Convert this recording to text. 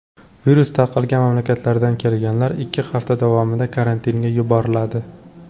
Virus tarqalgan mamlakatlardan kelganlar ikki hafta davomida karantinga yuboriladi.